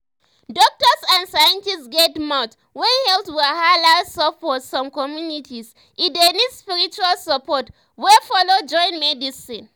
doktors and scientists get mouth when health wahala sup for some communities e dey need spiritual support wey follow join medicine.